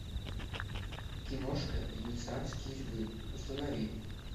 киношка венецианские львы установи